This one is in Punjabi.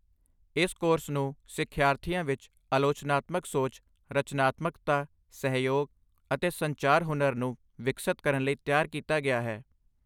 ਇਸ ਕੋਰਸ ਨੂੰ ਸਿੱਖਿਆਰਥੀਆਂ ਵਿੱਚ ਆਲੋਚਨਾਤਮਕ ਸੋਚ, ਰਚਨਾਤਮਕਤਾ, ਸਹਿਯੋਗ, ਅਤੇ ਸੰਚਾਰ ਹੁਨਰ ਨੂੰ ਵਿਕਸਤ ਕਰਨ ਲਈ ਤਿਆਰ ਕੀਤਾ ਗਿਆ ਹੈ।